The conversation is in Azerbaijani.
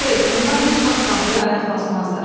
Xeyr, onlar heç vaxt tabuya ayaq basmazlar.